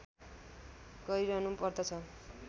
गरिरहनु पर्दछ